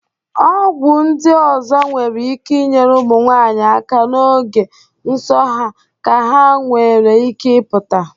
Ọgwụ ndị ọzọ nwere ike inyere ụmụnwanyị aka n'oge nsọ ha ka nwere ike ịpụta.